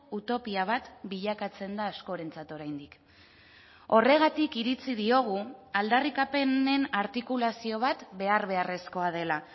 utopia bat bilakatzen da askorentzat oraindik horregatik iritzi diogu aldarrikapenen artikulazio bat behar beharrezkoa dela